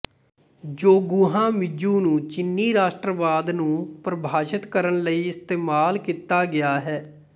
Zhonghua Minzu ਨੂੰ ਚੀਨੀ ਰਾਸ਼ਟਰਵਾਦ ਨੂੰ ਪਰਿਭਾਸ਼ਤ ਕਰਨ ਲਈ ਇਸਤੇਮਾਲ ਕੀਤਾ ਗਿਆ ਹੈ